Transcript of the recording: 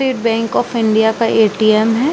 TET _bank of India का ATM है।